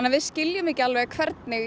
við skiljum ekki hvernig